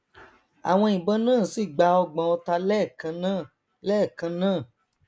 àwọn ìbọn náà sì gba ọgbọn ọta lẹẹkannáà lẹẹkannáà